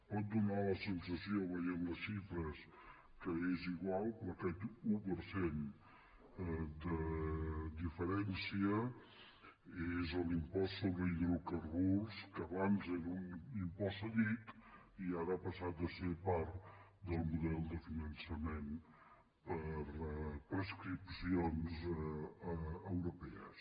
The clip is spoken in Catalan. pot fer la sensació veient les xifres que és igual però aquest un per cent de diferència és l’impost sobre hidrocarburs que abans era un impost cedit i ara ha passat a ser part del model de finançament per prescripcions europees